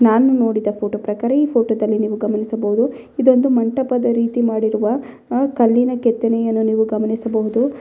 ನಾನು ನೋಡಿದ ಫೋಟೋ ಪ್ರಕಾರ ಈ ಫೋಟೋದಲ್ಲಿ ನೀವು ಗಮನಿಸಬಹುದು ಇದೊಂದು ಮಂಟಪದ ರೀತಿ ಮಾಡಿರುವ ಅ ಕಲ್ಲಿನ ಕೆತ್ತನೆಯನ್ನು ನೀವು ಗಮನಿಸಬಹುದು.